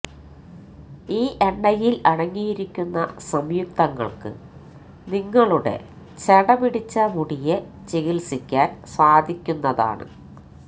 ഈ എണ്ണയില് അടങ്ങിയിരിക്കുന്ന സംയുക്തങ്ങള്ക്ക് നിങ്ങളുടെ ചെട പിടിച്ച മുടിയെ ചികിത്സിക്കാന് സാധിക്കുന്നതാണ്